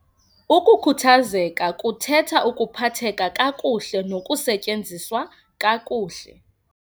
UKUKHUTHAZEKA KUTHETHA UKUPHATHEKA KAKUHLE NOKUSETYENZISWA KAKUHLE.